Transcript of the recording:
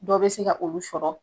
Dɔ be se ka olu sɔrɔ